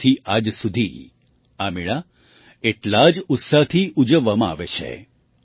ત્યારથી આજ સુધી આ મેળા એટલા જ ઉત્સાહથી ઉજવવામાં આવે છે